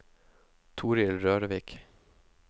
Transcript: Torill Rørvik